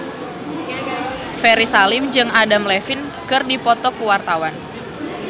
Ferry Salim jeung Adam Levine keur dipoto ku wartawan